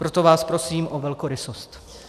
Proto vás prosím o velkorysost.